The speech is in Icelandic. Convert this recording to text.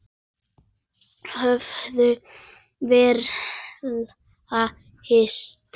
Höfðum varla hist.